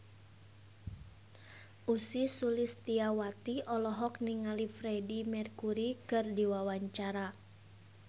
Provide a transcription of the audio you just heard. Ussy Sulistyawati olohok ningali Freedie Mercury keur diwawancara